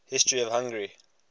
history of hungary